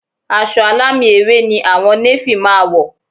Aṣọ alámì ewé ni àwọn néfì máa wọ̀